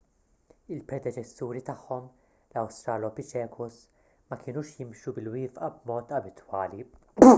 il-predeċessuri tagħhom l-australopithecus ma kinux jimxu bil-wieqfa b'mod abitwali